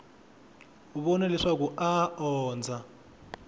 vona leswaku a a ondza